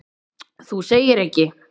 Þú segir ekki!?!